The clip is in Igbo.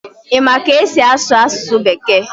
Ị ma ka esi asụ asụsụ bekee?